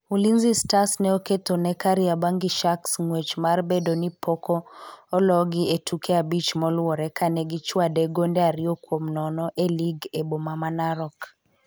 Ulinzi Stars ne oketho ne Kariobangi sharks ngwech mar bedoni poko ologi e tuke abich molure kane gi chwade gonde ariyo kuom nono e lig e boma ma Narok